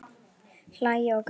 Hlæja og gráta.